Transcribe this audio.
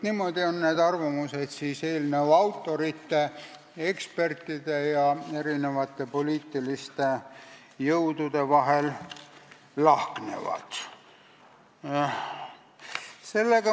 Niimoodi need arvamused siis eelnõu autorite, ekspertide ja erinevate poliitiliste jõudude vahel lahknevad.